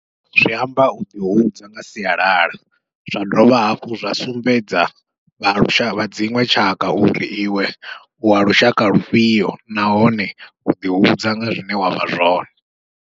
Zwi amba uḓi hudza nga sialala, zwa dovha hafhu zwa sumbedza vha lushaka vha dziṅwe tshaka uri iwe uwa lushaka lufhio, nahone uḓi hudza nga zwine wavha zwone.